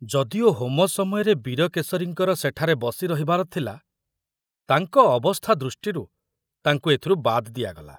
ଯଦିଓ ହୋମ ସମୟରେ ବୀରକେଶରୀଙ୍କର ସେଠରେ ବସି ରହିବାର ଥିଲା, ତାଙ୍କ ଅବସ୍ଥା ଦୃଷ୍ଟିରୁ ତାଙ୍କୁ ଏଥିରୁ ବାଦ ଦିଆଗଲା।